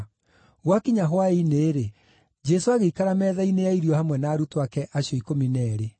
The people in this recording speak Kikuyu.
Gwakinya hwaĩ-inĩ-rĩ, Jesũ agĩikara metha-inĩ ya irio hamwe na arutwo ake acio ikũmi na eerĩ.